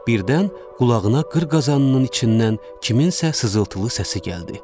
Birdən qulağına qır qazanının içindən kimsənin sızıltılı səsi gəldi.